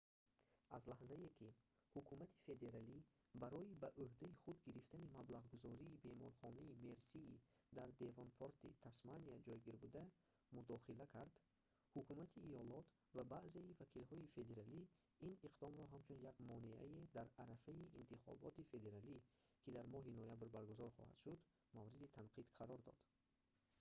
аз лаҳзае ки ҳукумати федералӣ барои ба уҳдаи худ гирифтани маблағгузории беморхонаи мерсии дар девонпорти тасмания ҷойгирбуда мудохила кард ҳукумати иёлот ва баъзеи вакилҳои федералӣ ин иқдомро ҳамчун як монеае дар арафаи интихоботи федералӣ ки дар моҳи ноябр баргузор хоҳад шуд мавриди танқид қарор дод